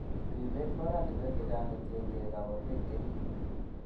Ripet ko oratinwek chechang' kotiengei koburonoik chenin.